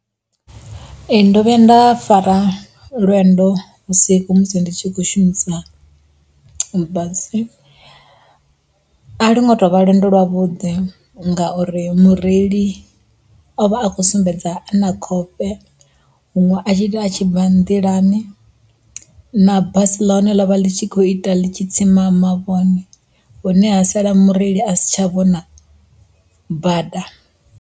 Ee ndo vhuya nda fara lwendo vhusiku musi ndi tshi khou shumisa basi, a longo tovha lwendo lwavhuḓi ngauri mureili o vha a khou sumbedza ana khofhe huṅwe a tshi ita a tshi bva nḓilani na basi ḽa hone ḽa ḽi tshi kho ita ḽi tshi tsima mavhone hune ha sala mureili a si tsha vhona bada.